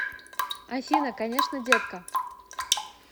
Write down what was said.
афина конечно детка